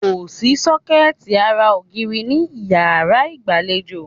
Kòsí sọ́kẹ̀tì ara ògiri ní ìyárá ìgbàlejò.